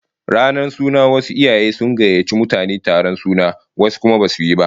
Ranar suna wasu iyaye sun gayyaci mutane taron suna, wasu kuma basu yi